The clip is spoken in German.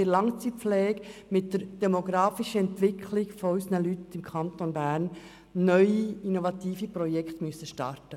In der Langzeitpflege müssen sie angesichts der demografischen Entwicklung im Kanton Bern neue innovative Projekte starten.